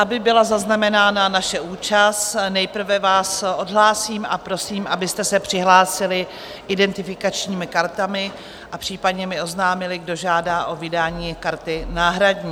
Aby byla zaznamenána naše účast, nejprve vás odhlásím a prosím, abyste se přihlásili identifikačními kartami a případně mi oznámili, kdo žádá o vydání karty náhradní.